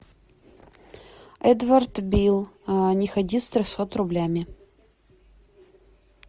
эдвард бил не ходи с трехсот рублями